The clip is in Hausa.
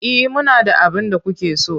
E, muna da abin da kuke so.